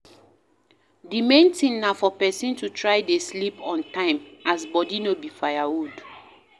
The main thing na for person to try dey sleep on time as body no be firewood